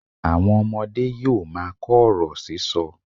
Àwọn ọmọdé yóò máa kọ ọ̀rọ̀ sísọ.